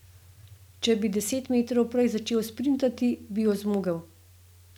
Če bi deset metrov prej začel sprintati, bi jo zmogel.